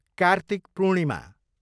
Kartik Purnima